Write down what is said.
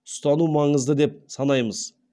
ұстану маңызды деп санаймыз